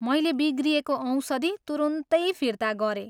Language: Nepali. मैले बिग्रिएको औषधि तुरुन्तै फिर्ता गरेँ।